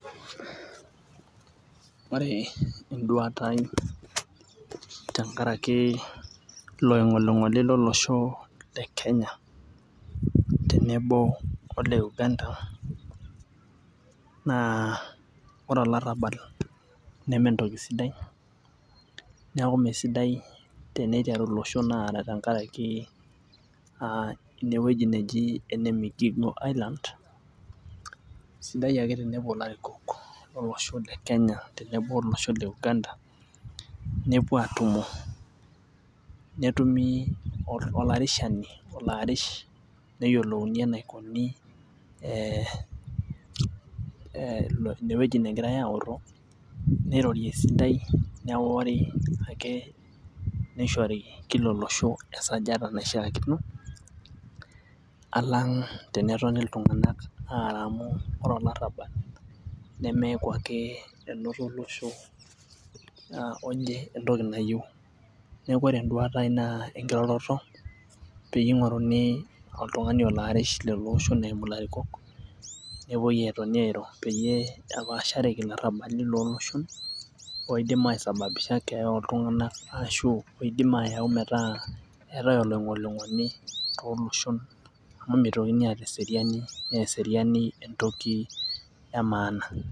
Ore enduata ai tenkaraki ilo oing'oling'oli lolosho le kenya tenebo ole uganda naa ore olarrabal nementoki sidai niaku mesidai teneiteru iloshon aara tenkaraki uh enewueji neji ene migingo island sidai ake tenepuo ilarikok lolosho le kenya tenebo olosho le uganda nepuo atumo netumi olarishani olo arish neyiolouni enaikoni eh inewueji negirae aorro neirori esidai newori ake neishori kila olosho esajata naishiakino alang tenetoni iltung'anak aara amu ore olarrabal nemeku ake enoto olosho oje entoki nayieu neku ore enduata ai naa enkiroroto peyie ing'oruni oltung'ani olo arish lelo oshon eimu ilarikok nepuoi atoni airo peyie epashareki ilarrabali loloshon oidim aesbabisha keeya oltung'anak ashu oidim ayau metaa eetae oloing'oling'oli toloshon amu meitokini aata eseriani naa eseriani entoki e maana.